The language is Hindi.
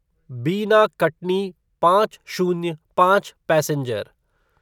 बिना कटनी पाँच शून्य पाँच पैसेंजर